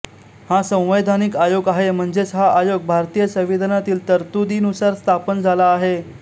हा संवैधानिक आयोग आहे म्हणजेच हा आयोग भारतीय संविधानातील तरतुदीनुसार स्थापन झाला आहे